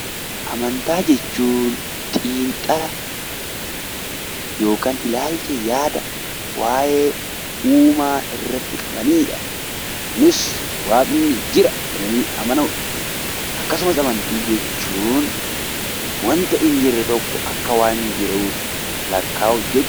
Amantaa jechuun xiinxala yookiin ilaalcha yaada waa'ee uumaa irratti qabanii dha .Kunis Waaqni jira jedhanii amanuudha. Akkasumas amantii jechuun wanta hin argamne tokko akka waan arganiitti amanuu jechuudha.